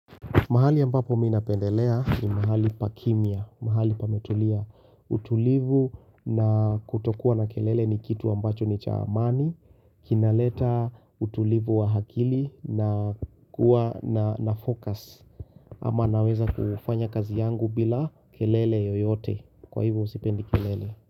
Mahali ambapo mimi napendelea ni mahali pa kimya mahali pametulia. Utulivu na kutokuwa na kelele ni kitu ambacho ni cha amani kinaleta utulivu wa akili na kuwa na focus ama naweza kufanya kazi yangu bila kelele yoyote. Kwa hivyo sipendi kelele.